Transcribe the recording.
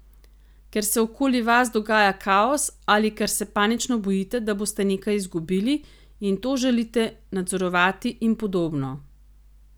Ker se okoli vas dogaja kaos ali ker se panično bojite, da boste nekaj izgubili, in to želite nadzorovati in podobno.